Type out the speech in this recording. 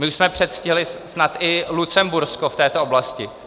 My už jsme předstihli snad i Lucembursko v této oblasti.